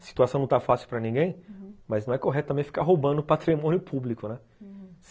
A situação não está fácil para ninguém, mas não é correto também ficar roubando patrimônio público, né? uhum.